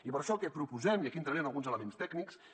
i per això el que proposem i aquí entraré en alguns elements tècnics